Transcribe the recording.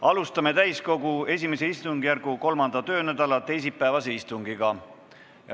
Alustame täiskogu I istungjärgu 3. töönädala teisipäevast istungit.